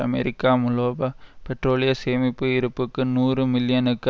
அமெரிக்க முலோபா பெட்ரோலிய சேமிப்பு இருப்புக்கு நூறு மில்லியனுக்கு